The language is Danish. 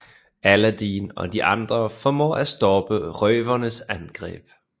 Aladdin og de andre formår at stoppe røvernes angreb